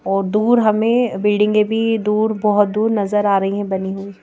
और दूर हमें बिल्डिंगें भी दूर बहुत दूर नजर आ रही हैं बनी हुई।